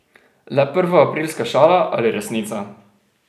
Le prvoaprilska šala ali resnica?